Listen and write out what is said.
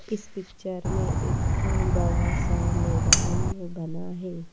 इस पिक्चर में एक खूब बड़ा सा मैदान बना है।